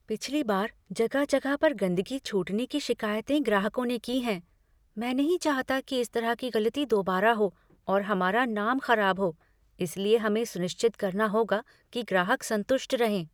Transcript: पिछली बार जगह जगह पर गंदगी छूटने की शिकायतें ग्राहकों ने की हैं। मैं नहीं चाहता कि इस तरह की गलती दोबारा हो और हमारा नाम खराब हो इसलिए हमें सुनिश्चित करना होगा कि ग्राहक संतुष्ट रहें।